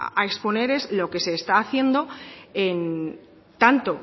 a exponer es lo que se está haciendo tanto